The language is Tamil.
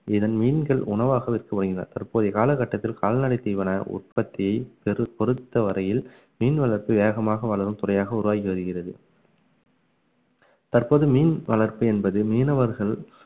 இதன் மீன்கள் உணவாக விற்கப்படுகின்றன தற்போதைய காலகட்டத்தில் கால்நடை தீவன உற்பத்தியை பெரு~ பொருத்தவரையில் மீன் வளர்ப்பு வேகமாக வளரும் துறையாக உருவாகி வருகிறது தற்போது மீன் வளர்ப்பு என்பது மீனவர்கள்